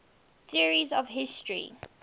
theories of history